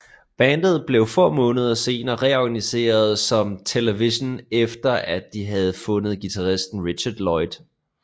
Bandet blev få måneder senere reorganiseret som Television efter at de have fundet guitaristen Richard Lloyd